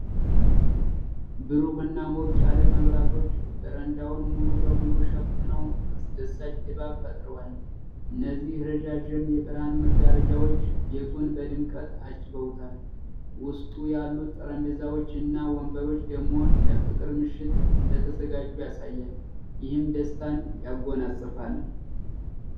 ብሩህ እና ሞቅ ያለ መብራቶች በረንዳውን ሙሉ በሙሉ ሸፍነው አስደሳች ድባብ ፈጥረዋል። እነዚህ ረዣዥም የብርሃን መጋረጃዎች ቤቱን በድምቀት አጅበውታል፤ ውስጡ ያሉት ጠረጴዛዎች እና ወንበሮች ደግሞ ለፍቅር ምሽት እንደተዘጋጁ ያሳያል፤ ይህም ደስታን ያጎናጽፋል።